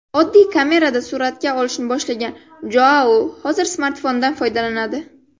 Oddiy kamerada suratga olishni boshlagan Joau hozir smartfondan foydalanadi.